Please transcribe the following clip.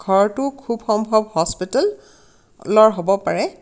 ঘৰটো খুব সম্ভৱ হস্পিটেল লৰ হ'ব পাৰে.